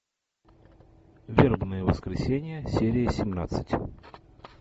вербное воскресенье серия семнадцать